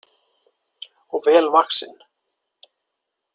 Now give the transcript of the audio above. Og vel vaxinn.